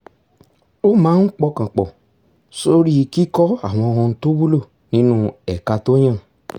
ó máa ń pọkàn pọ̀ sórí kíkọ́ àwọn ohun tó wúlò nínú ẹ̀ka tó yàn